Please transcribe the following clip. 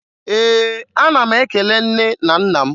Ee, ana m ekele nne na nna m.